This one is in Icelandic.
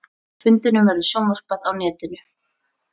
Fundinum verður sjónvarpað á netinu